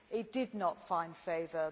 It did not find favour.